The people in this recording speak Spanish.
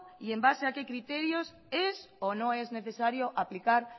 y en base a qué criterios es o no es necesario aplicar